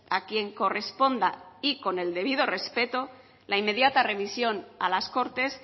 a quien corresponda y con el debido respeto la inmediata remisión a las cortes